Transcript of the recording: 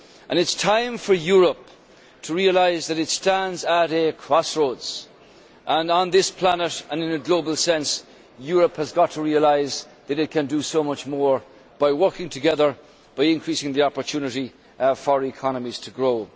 It is time for Europe to realise that it stands at a crossroads and on this planet, and in a global sense, Europe has got to realise that it can do so much more by working together, by increasing the opportunity for economies to grow.